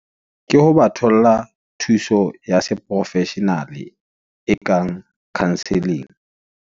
Ke ho ba tholla thuso ya se professional-e, e kang counsel-ling.